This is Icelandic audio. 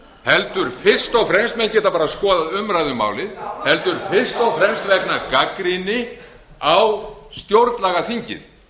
heldur fyrst og fremst menn geta bara skoðað umræðu um málið heldur fyrst og fremst vegna gagnrýni á stjórnlagaþingið